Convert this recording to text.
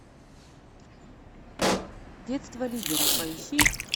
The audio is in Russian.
детство лидера поищи